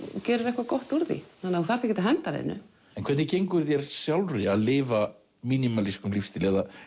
gerir eitthvað gott úr því þú þarft ekkert að henda neinu en hvernig gengur þér sjálfri að lifa minimalískum lífstíl